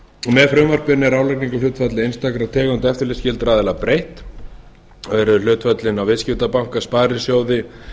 með frumvarpinu er álagningarhlutfalli einstakra tegunda eftirlitsskyldra aðila breytt og eru hlutföllin á viðskiptabanka sparisjóði